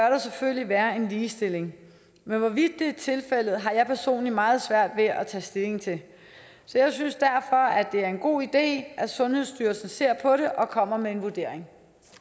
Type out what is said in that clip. selvfølgelig være en ligestilling men hvorvidt det er tilfældet har jeg personligt meget svært ved at tage stilling til så jeg synes derfor at det er en god idé at sundhedsstyrelsen ser på det og kommer med en vurdering